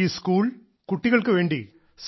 ഈ സ്കൂൾ കുട്ടികൾക്ക് വേണ്ടി